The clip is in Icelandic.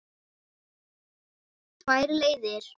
Tvær leiðir.